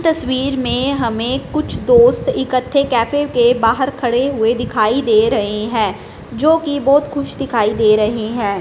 तस्वीर में हमें कुछ दोस्त इकट्ठे कैफे के बाहर खड़े हुए दिखाई दे रहे हैं जो की बहुत खुश दिखाई दे रहे हैं।